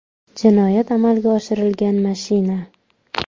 Jinoyat amalga oshirilgan mashina.